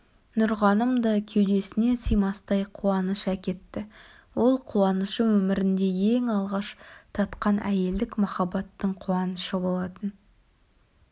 нұрғаным да кеудесіне сыймастай қуаныш әкетті ол қуанышы өмірінде ең алғаш татқан әйелдік махаббаттың қуанышы болатын